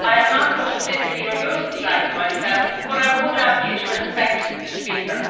I am not going to physically remove the flags myself, but I would ask you to respect the speaker.